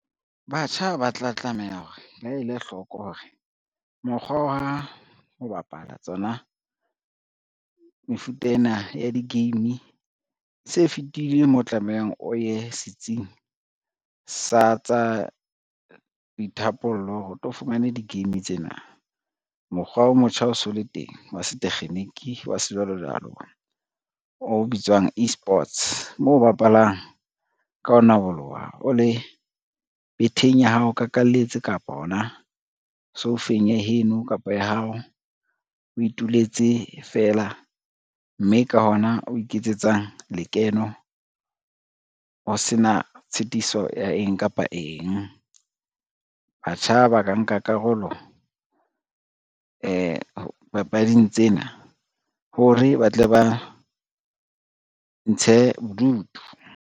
Batjha ba tla tlameha hore ba ele hloko hore mokgwa wa ho bapala tsona, mefuta ena ya di-game se fetile mo tlamehang o ye setsing sa tsa boithapollo ho re tlo fumane di-game tsena. Mokgwa o motjha o so le teng wa setekgeniki wa sejwalojwalo, o bitswang e-sports moo o bapalang ka ho naboloha o le betheng ya hao o kakalletse kapa hona soufeng ya heno kapa ya hao, o ituletse fela mme ka hona o iketsetsang lekeno o sena tshitiso ya eng kapa eng. Batjha ba ka nka karolo papading tsena hore ba tle ba ntshe bodutu.